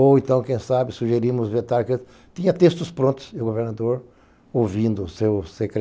Ou então, quem sabe, sugerimos vetar, tinha textos prontos, e o governador, ouvindo o seu secretario...